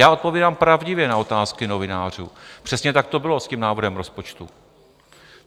Já odpovídám pravdivě na otázky novinářů, přesně tak to bylo s tím návrhem rozpočtu.